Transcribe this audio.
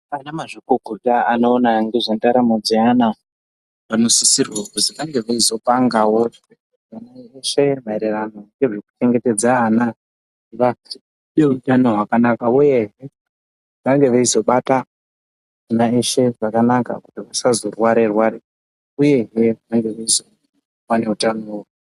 Anamazvikokota anoona ngezvendaramo dzeana, vanosisirwa kuzi, vange veizopangawo va...veshe maererano ngezvekuchengetedza ana, vaite utano hwakanaka, uye ,vange veizobata ,ana eshe zvakanaka, kuti vasazorware rware uyehe, vange veizova neutano.